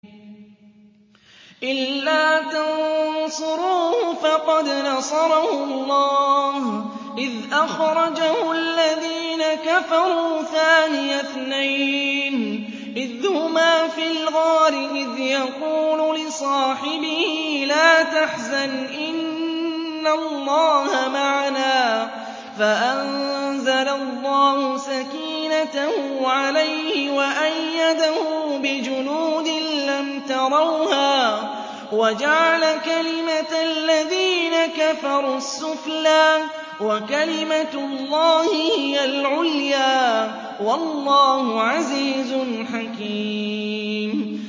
إِلَّا تَنصُرُوهُ فَقَدْ نَصَرَهُ اللَّهُ إِذْ أَخْرَجَهُ الَّذِينَ كَفَرُوا ثَانِيَ اثْنَيْنِ إِذْ هُمَا فِي الْغَارِ إِذْ يَقُولُ لِصَاحِبِهِ لَا تَحْزَنْ إِنَّ اللَّهَ مَعَنَا ۖ فَأَنزَلَ اللَّهُ سَكِينَتَهُ عَلَيْهِ وَأَيَّدَهُ بِجُنُودٍ لَّمْ تَرَوْهَا وَجَعَلَ كَلِمَةَ الَّذِينَ كَفَرُوا السُّفْلَىٰ ۗ وَكَلِمَةُ اللَّهِ هِيَ الْعُلْيَا ۗ وَاللَّهُ عَزِيزٌ حَكِيمٌ